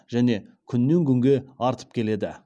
және күннен күнге артып келеді